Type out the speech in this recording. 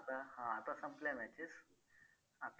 हां आता संपल्या matches आता